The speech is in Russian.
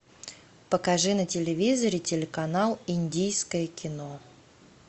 покажи на телевизоре телеканал индийское кино